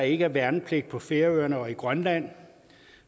ikke er værnepligt på færøerne og i grønland